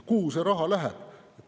Kuhu see raha läheb?